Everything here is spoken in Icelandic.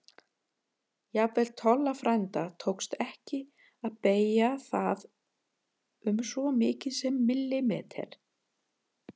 Jafnvel Tolla frænda tókst ekki að beygja það um svo mikið sem millimeter.